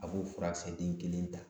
A b'o furakisɛ den kelen ta